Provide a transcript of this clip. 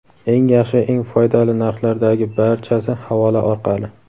Eng yaxshi va eng foydali narxlardagi barchasi havola orqali.